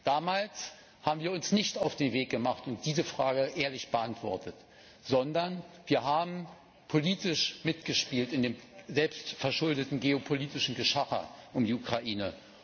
Damals haben wir uns nicht auf den Weg gemacht und diese Frage ehrlich beantwortet, sondern wir haben politisch mitgespielt in dem selbstverschuldeten geopolitischen Geschacher um die Ukraine.